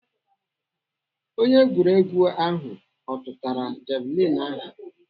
Onye egwuregwu ahụ ọ tụtara javilini ahụ?